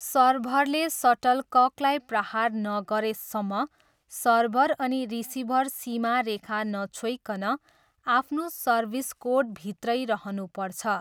सर्भरले सटलककलाई प्रहार नगरेसम्म सर्भर अनि रिसिभर सीमा रेखा नछोइकन, आफ्नो सर्भिस कोर्टभित्रै रहनुपर्छ।